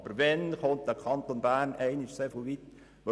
Aber wann wird der Kanton Bern endlich einmal so weit kommen?